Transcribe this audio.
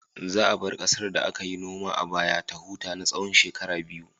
Za a bar ƙasar da aka yi noma a baya ta huta na tsawon shekaru biyu.